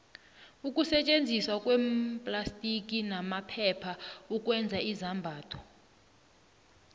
ukusetjenziswa kweemplastiki namaphepha ukwenza izambatho